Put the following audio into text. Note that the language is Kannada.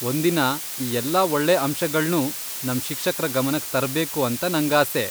ಒಂದಿನ ಈ ಎಲ್ಲಾ ಒಳ್ಳೆ ಅಂಶಗಳ್ನೂ ನಮ್ ಶಿಕ್ಷಕ್ರ ಗಮನಕ್ ತರ್ಬೇಕು ಅಂತ ನಂಗಾಸೆ.